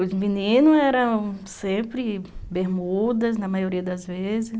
Os meninos eram sempre bermudas, na maioria das vezes.